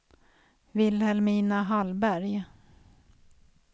Vilhelmina Hallberg